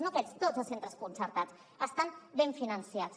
no aquests tots els centres concertats estan ben finançats